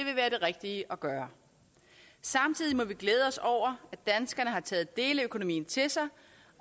rigtige at gøre samtidig må vi glæde os over at danskerne har taget deleøkonomien til sig